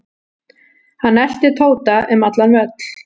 Hann elti Tóta um allan völl.